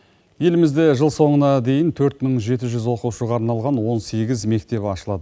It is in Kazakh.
елімізде жыл соңына дейін төрт мың жеті жүз оқушыға арналған он сегіз мектеп ашылады